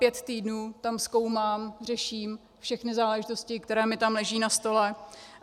Pět týdnů tam zkoumám, řeším všechny záležitosti, které mi tam leží na stole.